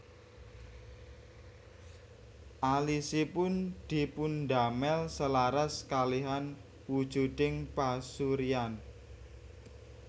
Alisipun dipundamel selaras kalihan wujuding pasuryan